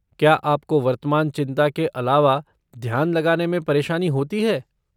क्या आपको वर्तमान चिंता के अलावा ध्यान लगाने में परेशानी होती है?